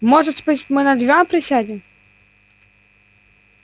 может быть мы на диван присядем